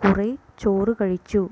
കുറെ ചോറു കഴിച്ചു